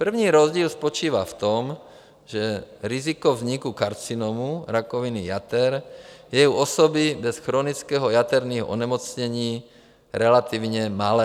První rozdíl spočívá v tom, že riziko vzniku karcinomu - rakoviny - jater, je u osoby bez chronického jaterního onemocnění relativně malé.